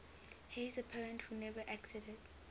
heirs apparent who never acceded